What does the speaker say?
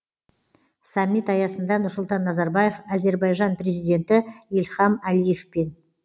саммит аясында нұрсұлтан назарбаев әзербайжан президенті ильхам алиевпен